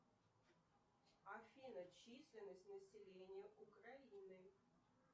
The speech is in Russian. афина численность населения украины